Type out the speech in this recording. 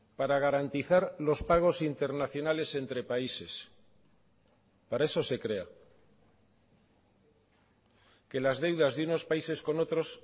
para garantizar los pagos internacionales entre países para eso se crea que las deudas de unos países con otros